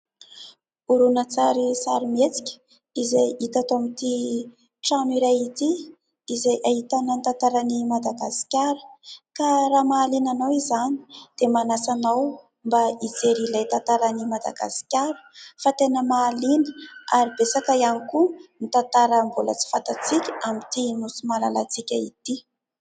Horonantsary sarimihetsika izay hita tao amin'ity trano iray ity. Izay ahitana ny tantaran'ny Madagasikara ka raha mahaliana anao izany dia manasa anao mba hijery ilay tantaran'ny Madagasikara, fa tena mahaliana ary betsaka ihany koa ny tantara mbola tsy fantatsika amin'ity Nosy malalantsika ity.